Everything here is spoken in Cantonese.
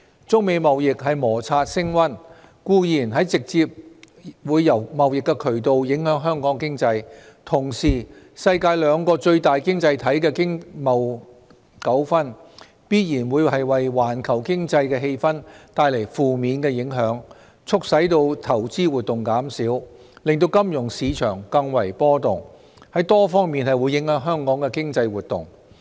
中美貿易摩擦升溫，固然會直接由貿易渠道影響香港經濟，同時世界兩個最大經濟體的經貿糾紛，必然會為環球經濟氣氛帶來負面影響，促使投資活動減少，令金融市場更為波動，在多方面影響香港的經濟活動。